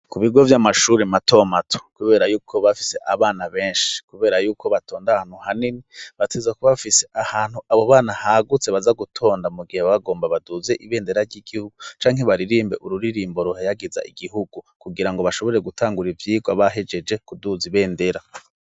ku bigo vy'amashuri matomato kubera y'uko bafise abana benshi kubera y'uko batonda ahantu hanini bategerezwa kuba bafise ahantu abo bana hagutse baza gutonda mu gihe bagomba baduze ibendera ry'igihugu canke baririmbe ururirimbo ruhayagiza igihugu kugira ngo bashobore gutangura ivyigwa bahejeje kuduza ibendera